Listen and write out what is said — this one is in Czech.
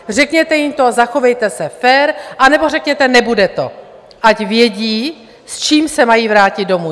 Řekněte jim to a zachovejte se fér, anebo řekněte, nebude to, ať vědí, s čím se mají vrátit domů!